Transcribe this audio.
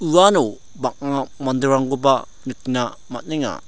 uano bang·a manderangkoba nikna man·enga.